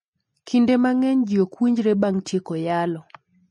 Kinde mang'eny ji okwinjre bang tieko yalo.